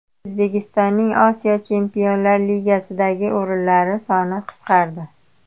O‘zbekistonning Osiyo Chempionlar Ligasidagi o‘rinlari soni qisqardi.